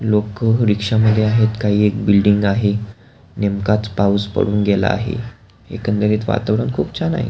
लोक रिक्षा मध्ये आहेत काही एक बिल्डिंग आहे नेमकाच पाऊस पडुन गेला आहे एकंदरीत वातावरण खुप छान आहे.